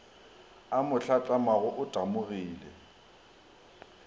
a mo hlatlamago o tamogile